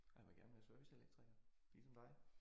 Og han vil gerne være serviceelektriker ligesom dig